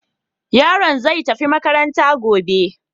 Yaron zai tafi makaranta gobe.